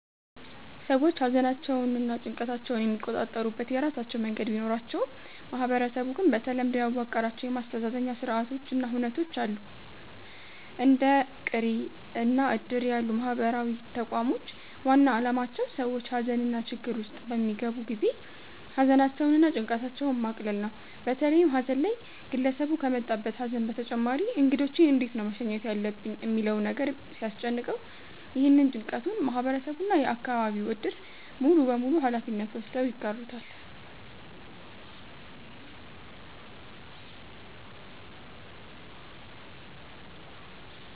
ሰዎች ሃዘናቸውንና ጭንቀታቸውን የሚቆጣጠሩበት የራሳቸው መንገድ ቢኖራቸውም ማህበረሰቡ ግን በተለምዶ ያዋቀራቸው የማስተዛዘኛ ስርአቶች እና ሁነቶች አሉ። እንደ ቅሬ እና እድር ያሉ ማህበራዊ ተቋሞች ዋና አላማቸው ሰዎች ሃዘንና ችግር ውስጥ በሚገቡ ጊዜ ሃዘናቸውን እና ጭንቀታቸውን ማቅለል ነው። በተለይም ሃዘን ላይ ግለሰቡ ከመጣበት ሃዘን በተጨማሪ እንግዶቼን እንዴት ነው መሸኘት ያለብኝ ሚለው ነገር ሲያስጨንቀው፤ ይህንን ጭንቀቱን ማህበረሰቡ እና የአከባቢው እድር ሙሉበሙሉ ሃላፊነት ወስደው ይጋሩታል።